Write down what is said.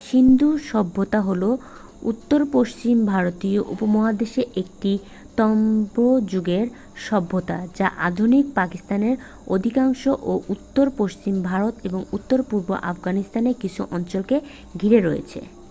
সিন্ধু সভ্যতা হল উত্তর-পশ্চিম ভারতীয় উপমহাদেশের একটি তাম্রযুগের সভ্যতা যা আধুনিক-পাকিস্তানের অধিকাংশ ও উত্তর-পশ্চিম ভারত এবং উত্তর-পূর্ব আফগানিস্তানের কিছু অঞ্চলকে ঘিরে রয়েছে